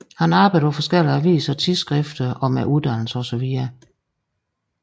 Han arbejdede på forskellige aviser og tidsskrifter og med uddannelse osv